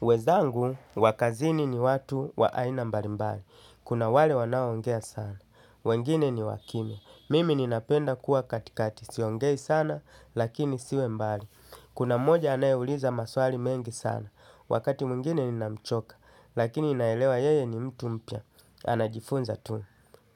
Wezangu, wakazini ni watu wa aina mbalimbali. Kuna wale wanaoongea sana. Wengine ni wa kimya. Mimi ninapenda kuwa katikati. Siongei sana, lakini siwe mbali. Kuna mmoja anayeuliza maswali mengi sana. Wakati mwingine ninamchoka, lakini naelewa yeye ni mtu mpya. Anajifunza tu.